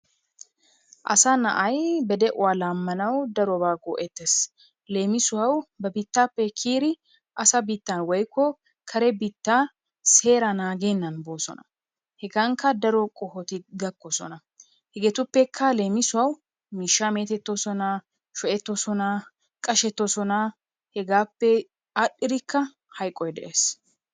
Asa na'ay ba de'uwa laammanawu darobaa go'ettees. Leemisuwawu ba biittaappe kiyiri asa biittan woykko kare biittaa seeraa, naagennan boosona. Hegankka daro qohoti gakkoosona. Hegeetuppekka leemisuwawu miishshaa meetettoosona, sho'ettoosona, qashettoosona. Hegaappe aadhdhirikka hayqoy de'ees.